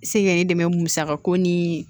Se k'e dɛmɛ musaka ko ni